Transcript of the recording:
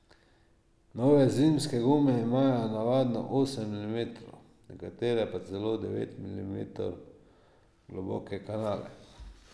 Nove zimske gume imajo navadno osem milimetrov, nekatere pa celo devet milimetrov globoke kanale.